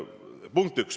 Punkt üks.